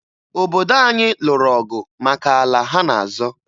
Obodo anyị lụrụ ọgụ maka ala ha na-azọ.